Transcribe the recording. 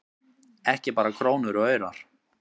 Ekki bara krónur og aurar